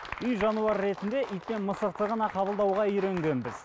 үй жануар ретінде ит пен мысықты ғана қабылдауға үйренгенбіз